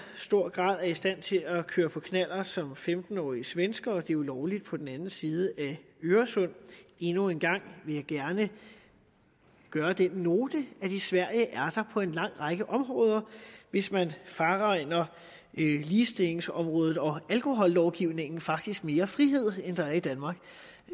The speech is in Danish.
grad er i stand til at køre på knallert som femten årige svenskere det er jo lovligt på den anden side af øresund endnu en gang vil jeg gerne gøre den note at i sverige er der på en lang række områder hvis man fraregner ligestillingsområdet og alkohollovgivningen faktisk mere frihed end der er i danmark